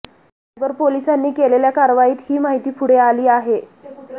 cyber पोलिसांनी केलेल्या कारवाईत ही माहिती पुढे आली आहे